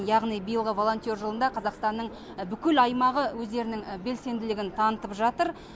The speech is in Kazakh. яғни биылғы волонтер жылында қазақстанның бүкіл аймағы өздерінің белсенділігін танытып жатыр